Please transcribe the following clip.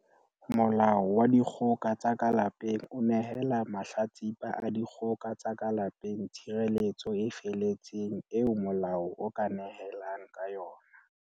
Molao wa Dikgoka tsa ka Lapeng o nehela mahla tsipa a dikgoka tsa ka lape ng tshireletso e feletseng eo molao o ka nehelang ka yona.